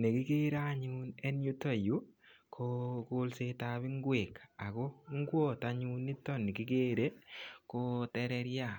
Nekigere anyun en yutok yu ko kolsetab ingwek ago ingwot anyun niton nikigere ko tererian.